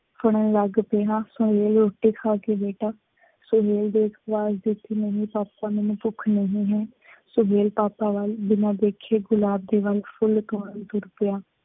ਲੱਗ ਪਿਆ। ਸੁਹੇਲ ਰੋਟੀ ਖਾ ਕੇ ਬੇਟਾ, ਸੁਹੇਲ ਦੇਖ , ਨਹੀਂ ਪਾਪਾ ਮੈਂਨੂੰ ਭੁੱਖ ਨਹੀਂ ਹੈ। ਸੁਹੇਲ ਪਾਪਾ ਵੱਲ ਬਿਨਾ ਦੇਖੇ ਗੁਲਾਬ ਦੇ ਵੱਲ ਫੁੱਲ ਤੋੜਨ ਤੁਰ ਪਿਆ।